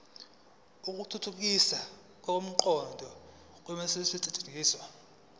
ukuthuthukisa ukuqonda nokusetshenziswa